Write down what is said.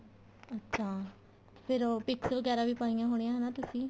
ਅੱਛਾ ਫੇਰ ਉਹ pics ਵਗੈਰਾ ਵੀ ਪਾਇਆ ਹੋਣੀਆ ਹਨਾ ਤੁਸੀਂ